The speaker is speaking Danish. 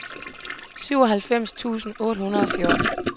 syvoghalvfems tusind otte hundrede og fjorten